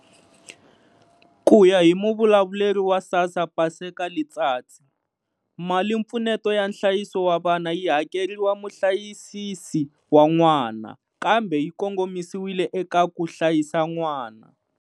Ku ya hi muvulavuleri wa SASSA Paseka Letsatsi, malimpfuneto ya nhlayiso wa vana yi hakeriwa muhlayisisi wa n'wana, kambe yi kongomisiwile eka ku hlayisa n'wana.